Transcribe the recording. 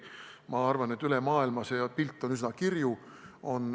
Ma arvan, et see pilt on üle maailma üsna kirju.